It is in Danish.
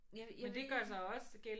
Jeg jeg ved ikke